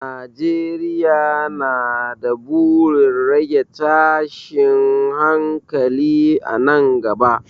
Najeriya na da burin rage tashin hankali a nan gaba.